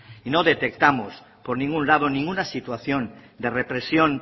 no detectamos por ningún lado ninguna situación de represión